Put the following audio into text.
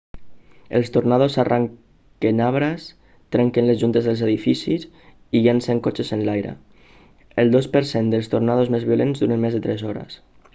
els tornados arrenquen arbres trenquen les juntes dels edificis i llencen cotxes enlaire el dos per cent dels tornados més violents duren més de tres hores